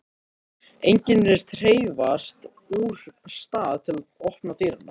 Enginn virðist hreyfast úr stað til að opna dyrnar.